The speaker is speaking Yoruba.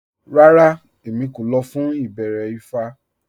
Rárá, Èmí kò lọ̀ fún ìbẹ̀rẹ̀ ifá